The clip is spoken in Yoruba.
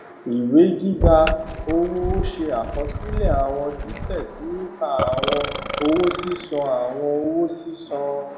vi ìwé gbígba owó ó ṣe àkosílè àwọn títè sí nípa àwọn owó sísan àwọn owó sísan